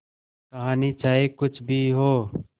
कहानी चाहे कुछ भी हो